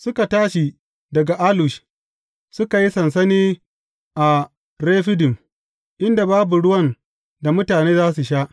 Suka tashi daga Alush, suka yi sansani a Refidim, inda babu ruwan da mutane za su sha.